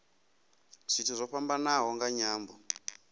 zwithu zwo fhambanaho nga nyambo